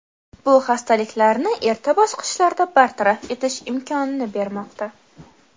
Bu xastaliklarni erta bosqichlarda bartaraf etish imkonini bermoqda.